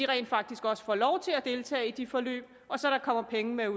rent faktisk også får lov til at deltage i de forløb og så der kommer penge med